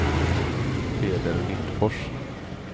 Peder Lindfors